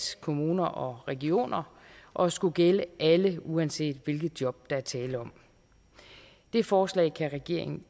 kommuner og regioner og skulle gælde alle uanset hvilke job der er tale om det forslag kan regeringen